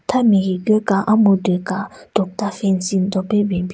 Tha me higu ka amhyudyu ka tokta fancing do pe ben bin.